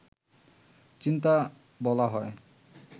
চিন্তা বলা হয়